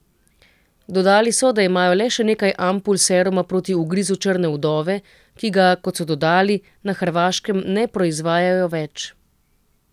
Dodali so, da imajo le še nekaj ampul seruma proti ugrizu črne vdove, ki ga, kot so dodali, na Hrvaškem ne proizvajajo več.